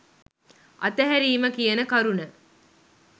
අතහැරීම කියන කරුණ.